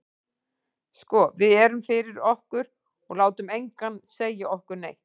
Sko við erum fyrir okkur, og látum engan segja okkur neitt.